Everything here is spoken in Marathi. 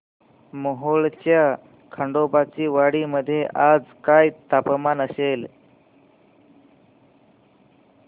मोहोळच्या खंडोबाची वाडी मध्ये आज काय तापमान असेल